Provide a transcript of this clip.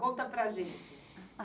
Conta para a gente.